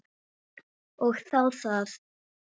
Og þá það.